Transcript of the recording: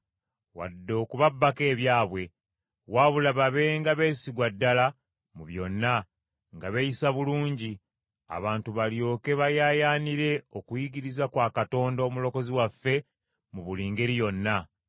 wadde okubabbangako ebyabwe. Wabula babenga beesigwa ddala mu byonna, nga beeyisa bulungi, abantu balyoke bayaayaanire okuyigiriza kwa Katonda Omulokozi waffe mu buli ngeri yonna.